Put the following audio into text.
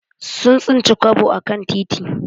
Sun tsinci kwabo a kan titi.